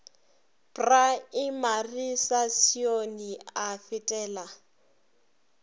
praemari sa sione a fetela